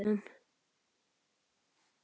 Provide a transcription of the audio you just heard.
Vilgerður, læstu útidyrunum.